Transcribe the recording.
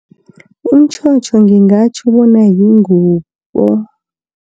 Umtjhotjho ngingatjho bona yingubo.